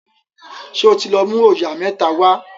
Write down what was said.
ṣe o tí lọ mú oyà mẹ́ta wá